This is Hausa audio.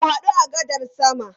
Mu hadu a gadar sama.